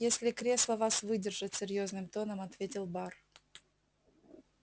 если кресло вас выдержит серьёзным тоном ответил бар